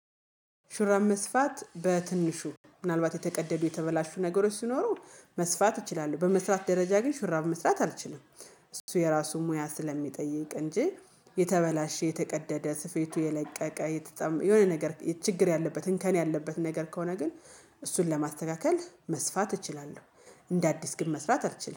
ሹራብ መስፋት በትንሹ ምናልባት የተቀደዱ የተበላሹ ነገሮች ሲኖሩ መስፋት ይችላሉ በመስራት ደረጃ ግን ሽራብ መስራት አልችልም እሱ የራሱን ሙያ ስለሚጠይቅ እንጂ የተበላሸ የተቀደደ ስፌቱ የለቀቀ የተጣመ የሆነ ነገር ችግር ያለበት እንከን ያለበት ነገር ከሆነ ግን እሱን ለማስተካከል መስፋት እችላለሁ። እንደ አዲስ ግን መስራት አልችልም